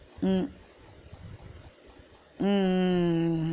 ஹம் உம் உம் உம்